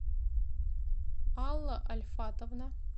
алла ольфатовна